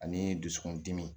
Ani dusukun dimi